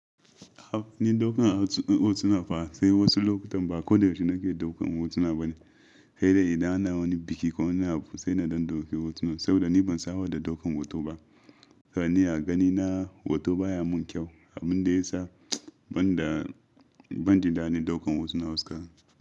A'a, ni daukan hotuna fa sai wasu lokutan ba koyaushe nake daukan hotuna ba ne, sai dai idan ana wani biki ko wani abu sai na don dauki hotuna saboda ni ban saba da daukan hoto ba. A gani a ganina hoto baya mun kyau, abin da ya sa ban da, ban jin da ɗin ɗaukan hotuna wasu ka.